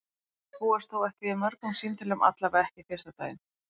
Þeir búast þó ekki við mörgum símtölum, allavega ekki fyrsta daginn.